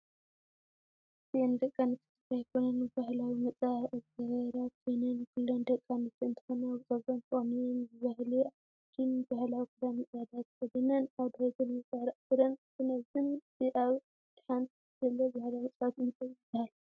እዚ ደቂ ኣንስትዮ ትግራይ ኮይነን ባህላዊ መፃባበቂ ዝገበረ ኮይነን ኩለን ደቂ ኣንስትዮ እንትኮና ብፅጉረን ተቀኒነን ብባህሊ ዓዲንባህላዊ ክዳንን ፃዕዳ ተክድነን ኣብ ድሕሪተን እውን ሳዕሪ ኣስረን እትንዕዘን እቲ ኣብ ኢድ ሓንት ዘሎ ባህላዊ መፃዊት እንታይ ይብሃል?